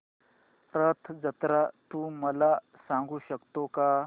रथ जत्रा तू मला सांगू शकतो का